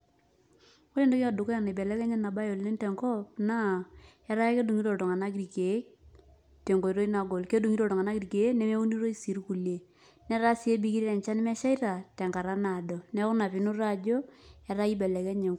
Ore entoki edukuya naibelekenya enabae oleng tenkop, naa etaa kedung'ito iltung'anak irkeek, tenkoitoi nagol. Kedung'ito iltung'anak irkeek, nemeunitoi si irkulie. Netaa si ebikito enchan nemeshaita, tenkata naado. Neeku ina pinoto ajo, ataa ibelekenye.